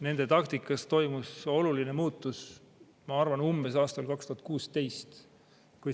Nende taktikas toimus oluline muutus, ma arvan, umbes aastal 2016.